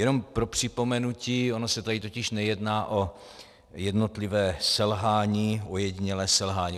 Jenom pro připomenutí, ono se tady totiž nejedná o jednotlivé selhání, ojedinělé selhání.